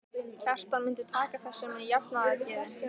Kjartan myndi taka þessu með jafnaðargeði.